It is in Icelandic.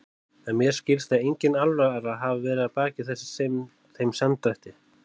En mér skilst að engin alvara hafi verið að baki þeim samdrætti.